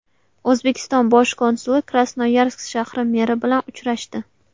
O‘zbekiston bosh konsuli Krasnoyarsk shahri meri bilan uchrashdi.